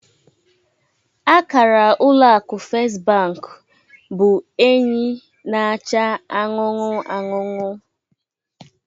Akara ụlọ akụ Fest bank bụ enyi na-acha anụnụ anụnụ